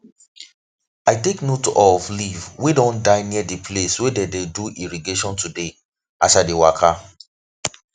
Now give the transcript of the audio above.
i take note of leave wey don die near the place wey them dey do irrigation today as i dey waka